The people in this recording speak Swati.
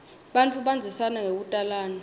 bantfu bandzisana ngekutalana